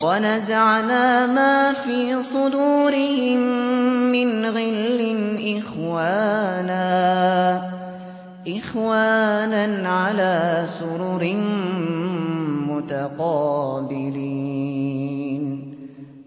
وَنَزَعْنَا مَا فِي صُدُورِهِم مِّنْ غِلٍّ إِخْوَانًا عَلَىٰ سُرُرٍ مُّتَقَابِلِينَ